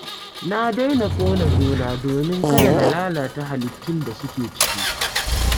Na daina ƙone gona domin kada na lalata halittun da suke ciki